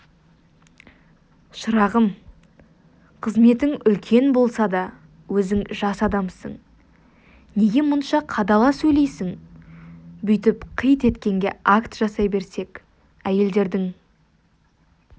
шырағым қызметің үлкен болса да өзің жас адамсың неге мұнша қадала сөйлейсің бүйтіп қит еткенге акт жасай берсек әйелдердің